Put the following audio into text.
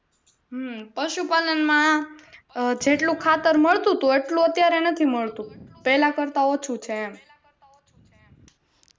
હમ પશુપાલન માં જેટલું ખાતર મળતું તું એટલું અત્યારે નથી મળતું પહેલા કરતા ઓછું છે એમ